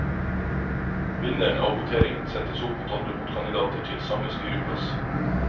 Vinneren av voteringen settes opp mot andre motkandidater til samme styreplass.